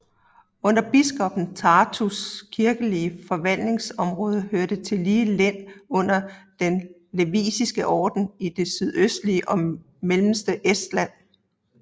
Under biskoppen af Tartus kirkelige forvaltningsområde hørte tillige len under Den Liviske Orden i det sydøstlige og mellemste Estland